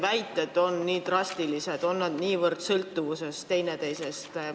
Kas nii drastilisi väiteid saab esitada, on need kaks niivõrd sõltuvuses teineteisest?